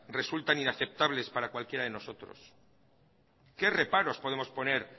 resultan inaceptables para cualquiera de nosotros qué reparos podemos poner